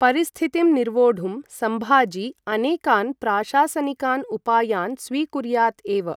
परिस्थितिं निर्वोढुं सम्भाजी अनेकान् प्राशासनिकान् उपायान् स्वीकुर्यात् एव।